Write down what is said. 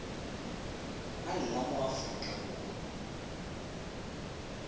a nna mo aforika borwa